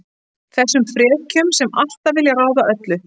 Þessum frekjum sem alltaf vilja ráða öllu.